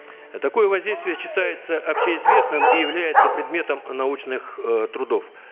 такое воздействие считается общеизвестным и является предметом научных э трудов